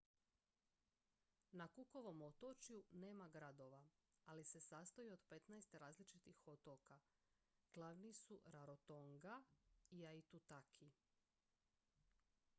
na cookovom otočju nema gradova ali sastoji se od 15 različitih otoka glavni su rarotonga i aitutaki